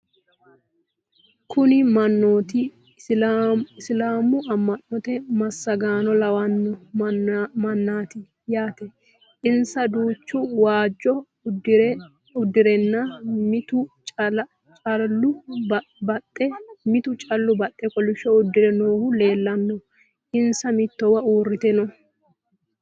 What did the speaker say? Kunni manootti isilaamu ama'notte masaaganno lawanno mannaatti yaatte. insa duuchu waajjo udirre nna mittu callu baxxe kolishsho udirre noohu leelanno. Insa mittowa uuritte noo.